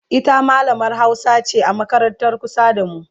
ita mallamar Hausa ce a makarantar kusa da mu